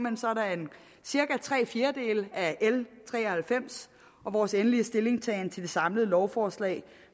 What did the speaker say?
cirka tre fjerdedele af l tre og halvfems vores endelige stillingtagen til det samlede lovforslag